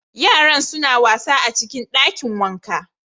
Yaran suna wasa a cikin dakin wanka